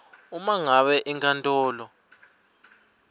uma ngabe inkantolo